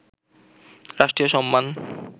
রাষ্ট্রীয় সম্মান